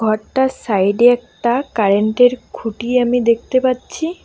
ঘরটার সাইডে একটা কারেন্টের খুঁটি আমি দেখতে পাচ্ছি।